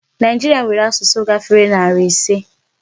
Nigeria nwèrè asụsụ gáfèrè narị ịse.